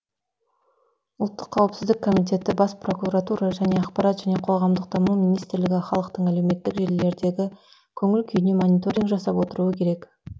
ұлттық қауіпсіздік комитеті бас прокуратура және ақпарат және қоғамдық даму министрлігі халықтың әлеуметтік желілердегі көңіл күйіне мониторинг жасап отыруы керек